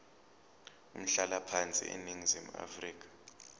umhlalaphansi eningizimu afrika